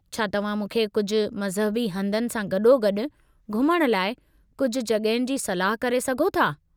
छा तव्हां मूंखे कुझु मज़हबी हंधनि सां गॾोगॾु घुमण लाइ कुझु जॻहियुनि जी सलाह करे सघो था?